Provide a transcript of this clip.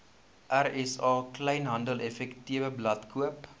rsa kleinhandeleffektewebblad koop